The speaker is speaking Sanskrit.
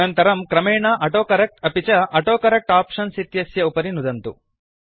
अनन्तरं क्रमेण ऑटोकरेक्ट अपि च ऑटोकरेक्ट आप्शन्स् इत्यस्य उपरि नुदन्तु